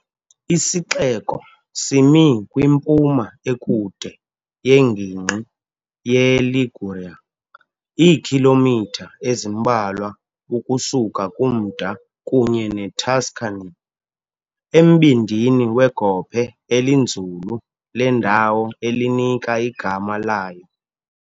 Isixeko simi kwimpuma ekude yengingqi yeLiguria, iikhilomitha ezimbalwa ukusuka kumda kunye neTuscany, embindini wegophe elinzulu lendawo elinika igama layo.